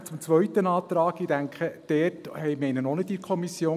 Dann zum zweiten Antrag: Ich denke, diesen hatten wir auch nicht in der Kommission.